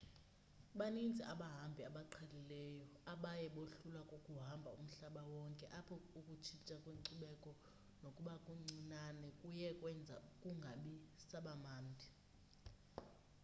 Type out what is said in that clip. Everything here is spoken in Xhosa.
baninzi abahambi abaqhelileyo abaye bohlulwa kukuhamba umhlaba wonke apho ukutshintsha kwenkcubeko nokuba kuncinane kuye kwenza kungabi saba mnandi